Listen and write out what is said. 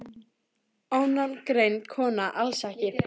Ónafngreind kona: Alls ekki?